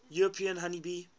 european honey bee